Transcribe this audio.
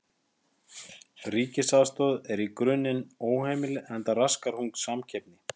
Ríkisaðstoð er í grunninn óheimil enda raskar hún samkeppni.